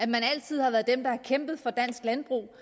man altid har været dem der har kæmpet for dansk landbrug